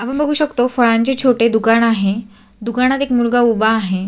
आपण बघू शकतो फळांचे छोटे दुकान आहे दुकानात एक मुलगा उभा आहे.